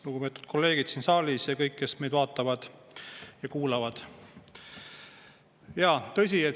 Lugupeetud kolleegid siin saalis ja kõik, kes meid vaatavad ja kuulavad!